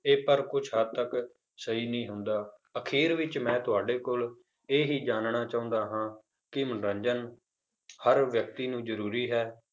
ਇਹ ਪਰ ਕੁਛ ਹੱਦ ਤੱਕ ਸਹੀ ਨਹੀਂ ਹੁੰਦਾ, ਅਖ਼ੀਰ ਵਿੱਚ ਮੈਂ ਤੁਹਾਡੇ ਕੋਲ ਇਹ ਹੀ ਜਾਣਨਾ ਚਾਹੁੰਦਾ ਹਾਂ ਕਿ ਮਨੋਰੰਜਨ ਹਰ ਵਿਅਕਤੀ ਨੂੰ ਜ਼ਰੂਰੀ ਹੈ,